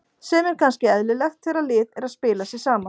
Sem er kannski eðlilegt þegar lið er að spila sig saman.